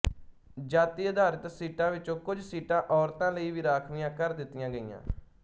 ਜਾਤੀ ਆਧਾਰਿਤ ਸੀਟਾਂ ਵਿੱਚੋਂ ਕੁਝ ਸੀਟਾਂ ਔਰਤਾਂ ਲਈ ਵੀ ਰਾਖਵੀਆਂ ਕਰ ਦਿੱਤੀਆਂ ਗਈਆਂ